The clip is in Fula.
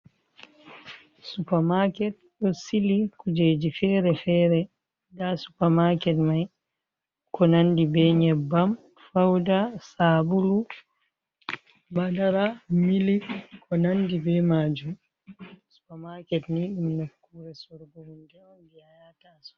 Supa maket ɗo sili kujeeji fere-fere haa supamaket may, ko nanndi be nyebbam, fawda, saabulu, madara ,milik, ko nanndi be maajum. Supamaket ni ɗum nofkuure sorugo hunde jey a yata a siga.